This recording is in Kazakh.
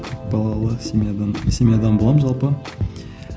балалы семьядан семьядан боламын жалпы